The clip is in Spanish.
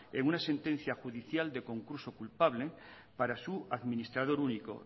en una sentencia judicial de concurso culpable para su administrador único